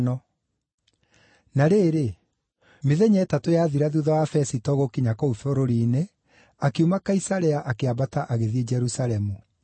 Na rĩrĩ, mĩthenya ĩtatũ yathira thuutha wa Fesito gũkinya kũu bũrũri-inĩ, akiuma Kaisarea akĩambata agĩthiĩ Jerusalemu.